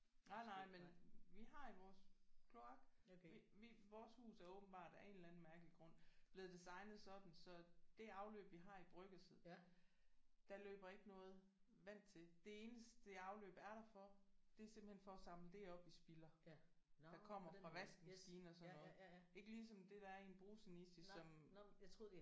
Nej nej men vi har i vores kloak. Vi vi vores hus er åbenbart af en eller anden mærkelig grund blevet designet sådan så det afløb vi har i bryggerset der løber ikke noget vand til. Det eneste det afløb er der for det er simpelthen for at samle det op vi spilder der kommer fra vaskemaskine og sådan noget. Ikke ligesom det der er i en bruseniche som